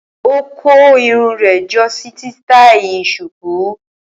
Ó kó irun rẹ̀ jọ sí sítáí Shuku.